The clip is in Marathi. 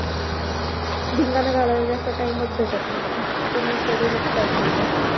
धिंगाणा घालायला जास्त टाईम च भेटत नव्हता. पूर्ण schedule च पॅक होतं.